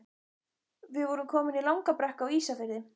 Við vorum komin í langa brekku Á Ísafirði.